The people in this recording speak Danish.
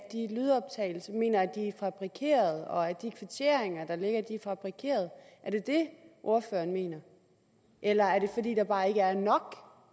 fabrikerede og at de kvitteringer der ligger er fabrikerede er det det ordføreren mener eller er det fordi der bare ikke er nok